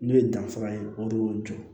Ne ye danfara ye o de y'o jɔ